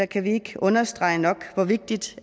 kan vi ikke understrege nok hvor vigtigt